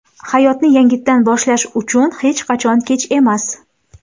Hayotni yangitdan boshlash uchun hech qachon kech emas.